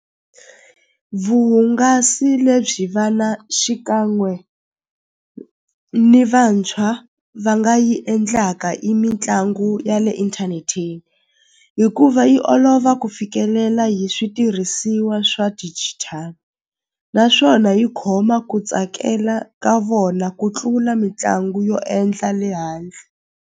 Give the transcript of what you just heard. Vuhungasi lebyi vana xikan'we ni vantshwa va nga yi endlaka i mitlangu ya le inthaneteni hikuva yi olova ku fikelela hi switirhisiwa swa digital naswona yi khoma ku tsakela ka vona ku tlula mitlangu yo endla le handle.